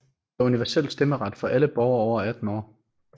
Der er universel stemmeret for alle borgere over 18 år